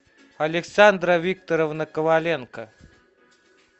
александра викторовна коваленко